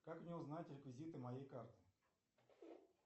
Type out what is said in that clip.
как мне узнать реквизиты моей карты